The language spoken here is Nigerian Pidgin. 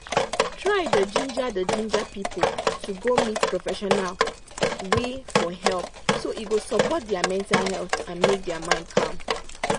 try da ginger da ginger people to go meet professional wey for help so e go support their mental health and make their mind calm.